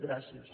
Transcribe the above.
gràcies